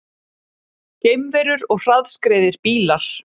Geimverur og hraðskreiðir bílar